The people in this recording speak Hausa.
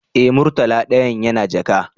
Eh, murtala dayan yana jaka